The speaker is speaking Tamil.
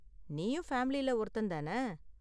நீயும் ஃபேமிலில ஒருத்தன் தான?